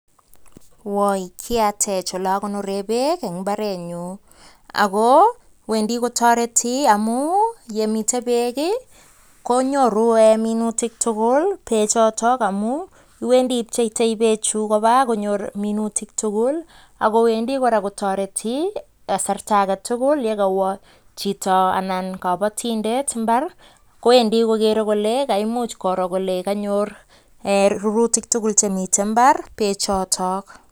Woi kiatech oleakonoree beek eng imbarenyu ako wendi kotoreti amu yemitei beek konyoru minutik tugul bee choto amun iwendi ipcheitoi beechu koba konyor minutik tugul akowendi kora kotoreti kasarta agetugul yekawo chito anan kabatindet mbar kowendi kokere kole kaimuch koro kole kanyor rurutik tugul chemitein mbar beechotok